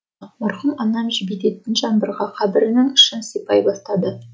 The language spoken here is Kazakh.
мархұм анам жібітетін жаңбырға қабірінің ішін сипай бастады